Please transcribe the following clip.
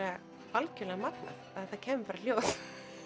algjörlega magnað að það kæmi bara hljóð